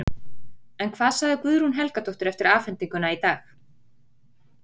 En hvað sagði Guðrún Helgadóttir eftir afhendinguna í dag?